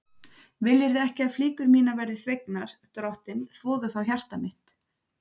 Viljirðu ekki að flíkur mínar verði þvegnar, drottinn, þvoðu þá hjarta mitt.